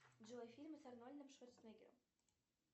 джой фильмы с арнольдом шварценеггером